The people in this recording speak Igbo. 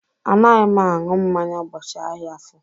Anaghị m aṅụ mmanya ụbọchị ahịa afọr.